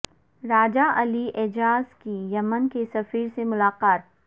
راجہ علی اعجاز کی یمن کے سفیر سے ملاقات